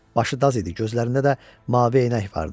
Başı daz idi, gözlərində də mavi eynək vardı.